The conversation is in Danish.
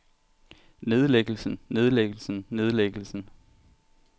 nedlæggelsen nedlæggelsen nedlæggelsen